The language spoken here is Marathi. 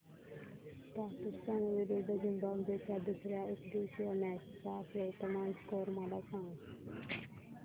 पाकिस्तान विरुद्ध झिम्बाब्वे च्या दुसर्या एकदिवसीय मॅच चा वर्तमान स्कोर मला सांगा